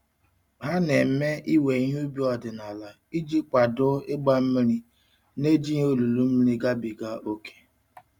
Ha na-eme iwe ihe ubi ọdịnala iji kwado ịgba mmiri n'ejighị olulu mmiri gabiga ókè.